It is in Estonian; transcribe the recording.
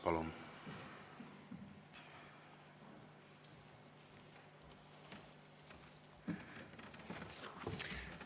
Palun!